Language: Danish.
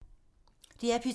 DR P2